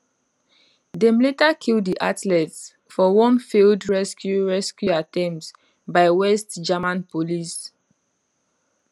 dem later kill di athletes for one failed rescue rescue attempt by west german police